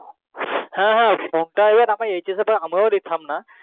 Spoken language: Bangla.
হ্যাঁ হ্যাঁ সেটা তো আমরা hs দিটাম না